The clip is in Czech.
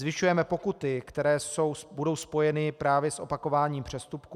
Zvyšujeme pokuty, které budou spojeny právě s opakováním přestupků.